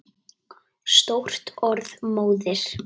Stórt orð móðir!